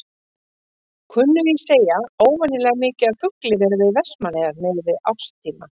Kunnugir segja óvenjulega mikið af fugli vera við Vestmannaeyjar miðað við árstíma.